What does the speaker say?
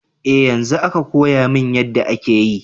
Eh yanzo aka koyamin yadda ake yi.